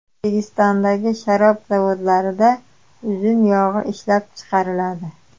O‘zbekistondagi sharob zavodlarida uzum yog‘i ishlab chiqariladi.